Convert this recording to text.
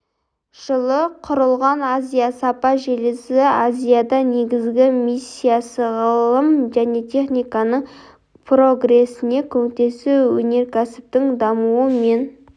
жылы құрылған азия сапа желісі азияда негізгі миссиясы ғылым мен техниканың прогресіне көмектесу өнеркәсіптің дамуы мен